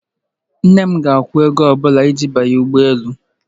Nne m ga-akwụ ego ọ bụla iji banye ụgbọ elu.